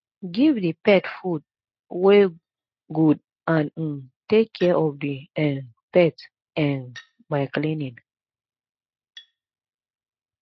give di pet food wey good and um take care of di um pet um by cleaning